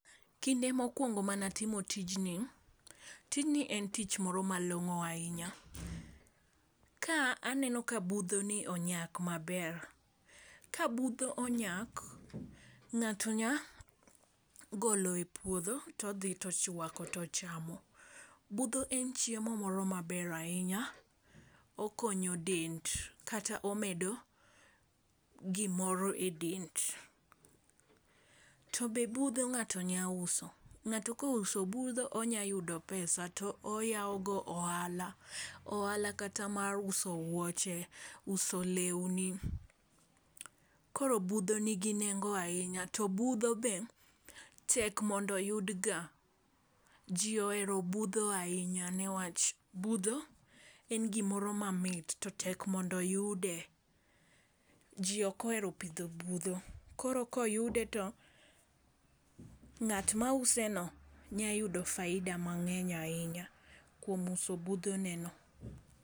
Kinde mokwongo mana timo tijni, tijni en tich moro malong'o ahinya. Kaa aneno ka budho ni onyak maber, ka budho onyak ng'ato nya golo e puodho todhi tochwako tochamo. Budho en chiemo moro maber ahinya okonyo dend kata omedo gimoro e dend . To be budho ng'ato nya uso. Ng'ato kouso budho onya yudo pesa to oyawo go ohala, ohala kata mar uso wuoche, uso lewni . Koro budho nigi nengo ahinya to budho be tek mondo oyud ga . Jii ohero budho ahinya newach budho en gimoro ma mit to tek mondo oyude . Jii ok ohero pidho budho koro koyude to ng'at mause no nya yudo faida mang'eny ahinya kuom uso budho ne no.